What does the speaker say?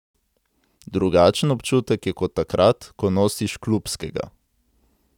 Drugačen občutek je kot takrat, ko nosiš klubskega.